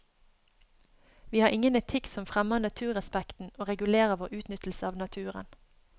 Vi har ingen etikk som fremmer naturrespekten og regulerer vår utnyttelse av naturen.